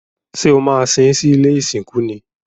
Ṣé o maa sín sí ilé ìsìnkú ni?